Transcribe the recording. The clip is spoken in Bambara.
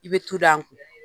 I bɛ tu da nkun